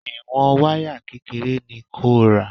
Ìwọ̀n wáyà kékeré ni kò ra.